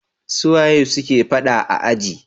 Suwane suke faɗa a aji?